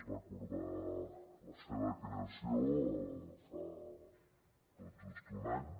es va acordar la seva creació fa tot just un any